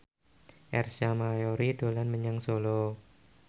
Ersa Mayori dolan menyang Solo